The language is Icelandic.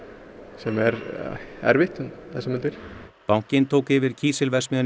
sem er erfitt um þessar mundir bankinn tók yfir kísilverksmiðjuna í